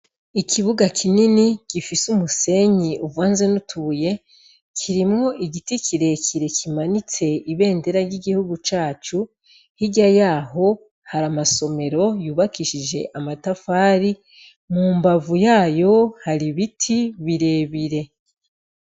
Ikibuga kinini gifise umusenyi uvanze n'utubuye, kirimwo igiti kirekire kimanitse ibendera ry'igihugu cacu, hirya yaho, hari amasomero yubakishije amatafari, mu mbavu yayo hari ibiti birebire.